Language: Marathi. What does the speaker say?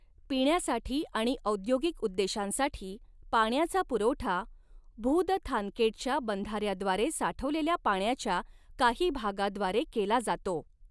पिण्यासाठी आणि औद्योगिक उद्देशांसाठी पाण्याचा पुरवठा भूदथानकेटच्या बंधाऱ्याद्वारे साठवलेल्या पाण्याच्या काही भागाद्वारे केला जातो.